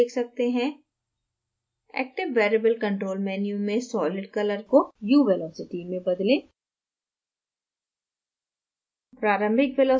आप geometry देख सकते हैं active variable control menu में solid color को u velocity में बदलें